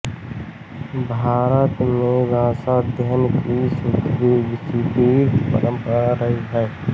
भारत में भाषाध्ययन की सुदीर्घ परम्परा रही है